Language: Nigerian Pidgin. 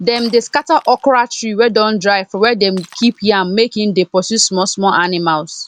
dem dey scatter okra tree wey don dry for where them keep yam make e dey pursue small small animals